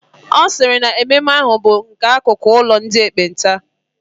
Ọ sịrị na mmemme ahụ bụ n'akụkụ ụlọ ndị ekpenta